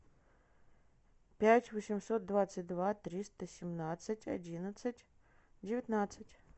пять восемьсот двадцать два триста семнадцать одиннадцать девятнадцать